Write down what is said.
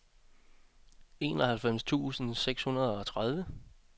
enoghalvfems tusind og seksogtredive